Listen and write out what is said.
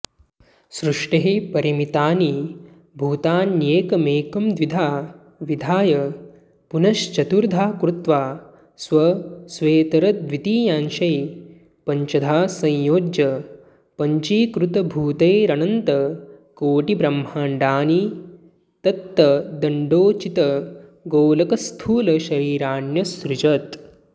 सृष्टेः परिमितानि भूतान्येकमेकं द्विधा विधाय पुनश्चतुर्धा कृत्वा स्वस्वेतरद्वितीयांशैः पञ्चधा संयोज्य पञ्चीकृतभूतैरनन्तकोटिब्रह्माण्डानि तत्तदण्डोचितगोलकस्थूलशरीराण्यसृजत्